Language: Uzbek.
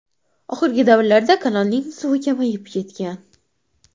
Oxirgi davrlarda kanalning suvi kamayib ketgan.